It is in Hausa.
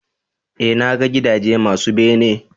eh na ga gidaje masu bene